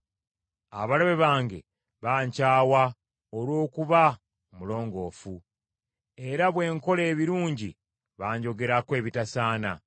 Abalabe bange bankyawa olw’okuba omulongoofu, era bwe nkola ebirungi banjogerako ebitasaana.